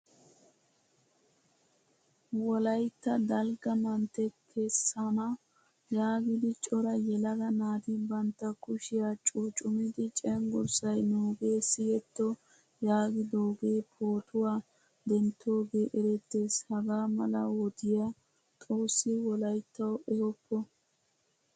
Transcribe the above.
Wolaytta dalgge mantte kessana yaagidi cora yelaga naati bantta kushiyaa cuccumid cenggurssaay nuuge siyetto yaagidoge pootuwaa denttoge erettees. Hagaa mala wodiya xoossi wolayttawu ehooppo.